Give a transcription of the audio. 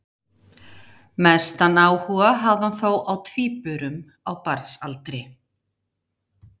Mestan áhuga hafði hann þó á tvíburum á barnsaldri.